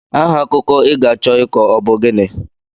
Aha akụkọ I ga-achọ ịkọ ọ bụ gịnị?